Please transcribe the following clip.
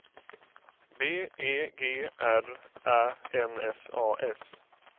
B E G R Ä N S A S